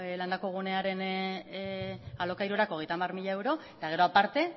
landako gunearen alokairurako hogeita hamar mila euro eta gero aparte